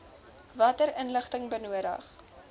watter inligting benodig